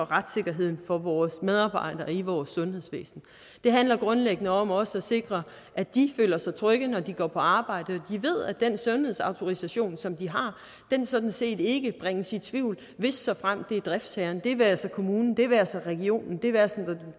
retssikkerheden for vores medarbejdere i vores sundhedsvæsen det handler grundlæggende om også at sikre at de føler sig trygge når de går på arbejde og ved at den sundhedsautorisation som de har sådan set ikke bringes i tvivl hvis såfremt det er driftsherren det være sig kommunen det være sig regionen det være sig den